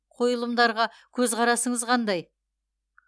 қойылымдарға көзқарасыңыз қандай